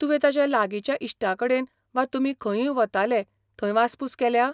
तुवें ताच्या लागिंच्या इश्टांकडेन वा तुमी खंयूंय वताले थंय वासपूस केल्या?